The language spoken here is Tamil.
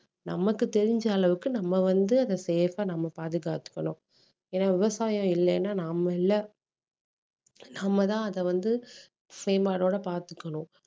நமக்கு தெரிஞ்ச அளவுக்கு நம்ம வந்து அதை safe ஆ நம்ம பாதுகாத்துக்கணும் ஏன்னா விவசாயம் இல்லைன்னா நாம இல்ல நம்மதான் அதை வந்து பாத்துக்கணும்